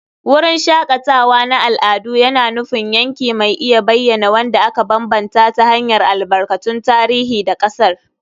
Wurin shakatawa na al'adu yana nufin yanki mai iya bayyana wanda aka bambanta ta hanyar albarkatun tarihi da ƙasar.